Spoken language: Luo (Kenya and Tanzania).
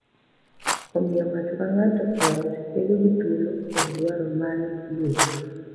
Omiyo ng’ato ka ng’ato e ot bedo gi thuolo kod dwaro mare luor,